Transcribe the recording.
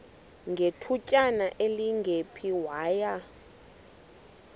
ngethutyana elingephi waya